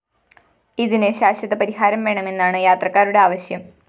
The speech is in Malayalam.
ഇതിന് ശാശ്വതപരിഹാരം വേണമെന്നാണ് യാത്രക്കാരുടെ ആവശ്യം